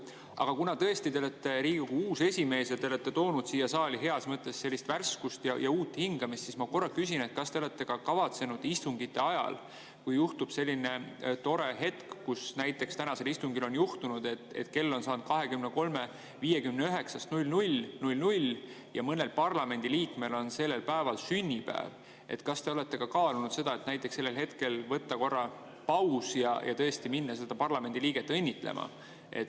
Aga kuna te tõesti olete Riigikogu uus esimees ja olete toonud siia saali heas mõttes sellist värskust ja uut hingamist, siis ma korra küsin, et kui juhtub selline tore hetk, mis näiteks tänasel istungil on juhtunud, et kell on saanud 23.59 asemel 00.00 ja mõnel parlamendiliikmel on sellel päeval sünnipäev, siis kas te olete kaalunud seda, et sellel hetkel teha korraks paus ja tõesti minna seda parlamendiliiget õnnitlema.